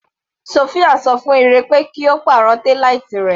Sofia ṣọ fún Ire pé kí Ó pàrọ̀ taillight rẹ̀.